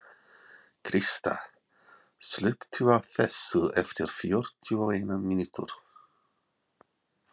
Krista, slökktu á þessu eftir fjörutíu og eina mínútur.